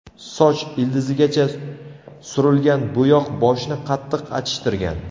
Soch ildizigacha surilgan bo‘yoq boshni qattiq achishtirgan.